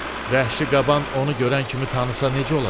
Vəhşi qaban onu görən kimi tanısa necə olacaq?